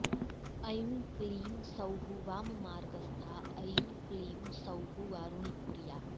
ऐं क्लीं सौः वाममार्गस्था ऐं क्लीं सौः वारुणीप्रिया